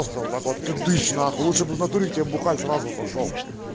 просто вот так вот тыдыщ нахуй лучше бы натуре к тебе бухать сразу пошёл